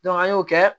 an y'o kɛ